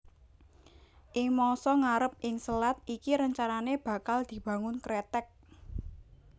Ing mangsa ngarep ing selat iki rencanané bakal dibangun kreteg